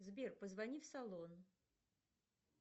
сбер позвони в салон